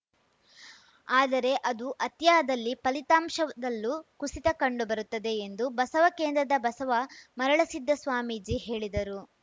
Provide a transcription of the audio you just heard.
ಆದರೆ ಅದು ಅತಿಯಾದಲ್ಲಿ ಫಲಿತಾಂಶದಲ್ಲೂ ಕುಸಿತ ಕಂಡು ಬರುತ್ತದೆ ಎಂದು ಬಸವಕೇಂದ್ರದ ಬಸವ ಮರಳಸಿದ್ಧ ಸ್ವಾಮೀಜಿ ಹೇಳಿದರು